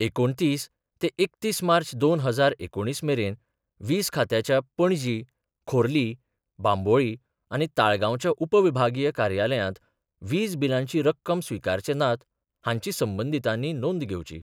एकुणतीस ते एकतीस मार्च दोन हजार एकुणीस मेरेन वीज खात्याच्या पणजी, खोर्ली, बांबोळी आनी ताळगांवच्या उपविभागीय कार्यालयात वीज बिलांची रक्कम स्वीकारचे नात, हांची संबंदीतांनी नोंद घेवचीं.